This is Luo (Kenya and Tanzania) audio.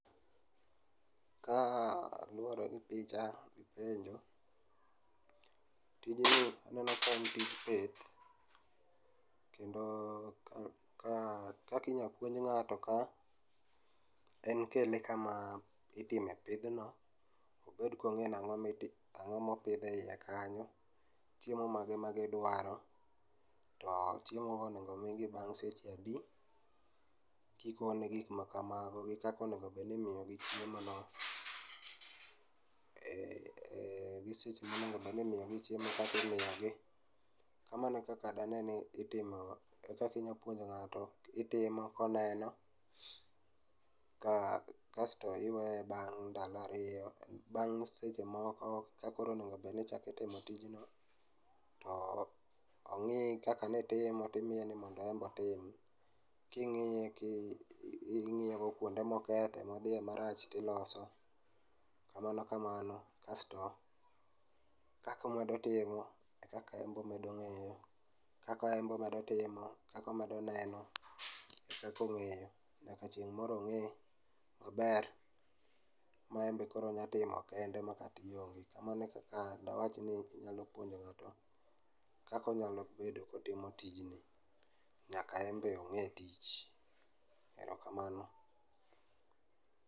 Kaluore gi picha gi penjo, tijni neno ka en tij pith kendo kakinyal puonje ng'ato ka en kele kama itime pidhno obed konge ni ango, ango mopidh eiye kanyo, chiemo mage magidwaro to chiemo go onego omigi bang' seche adi, gik ma gik makamago gi kaka onego bedni imiyogi chiemo no, eeh.gi seche ma onego obed ni imiyo gi, kaka imiyogi. Kamano ekaka dane ni itimo, ekaka ipuonjo nga'to koneno kasto iweye bang' ndalo ariyo, bang' seche moko kakoro onego obed ni ichako timo tijno to ong'i kaka nitimo timiye ni mondo en be otim. King'iye kingiyo kuonde moketho, modhiye marach tiloso, kamano kamano kasto kaka omedo timo e kaka en be omedo ng'eyo. Kaka en be omedo timo e kaka omedo neno e kaka ong'eyo nyaka chieng' moro ong'e maber ma en be koro onya timo kende makata ionge. Kamano ekaka anya wacho ni inya puonjo ng'ato kaka onya timo tijni, nyaka en be ong'e tich. Erokamano